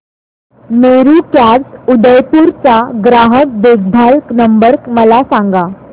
Meru cabs Udaipur चा ग्राहक देखभाल नंबर मला सांगा